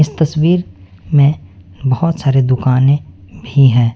इस तस्वीर में बहुत सारे दुकाने भी हैं।